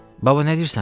Baba nə deyirsən?